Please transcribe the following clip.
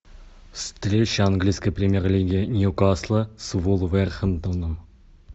встреча английской премьер лиги ньюкасла с вулверхэмптоном